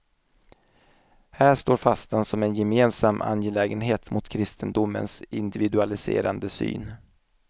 Här står fastan som en gemensam angelägenhet mot kristendomens individualiserande syn.